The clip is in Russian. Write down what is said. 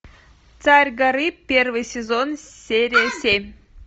царь горы первый сезон серия семь